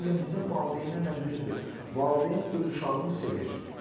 Bu gün bizim valideynlərlə düzdür, valideyn öz uşağını sevir.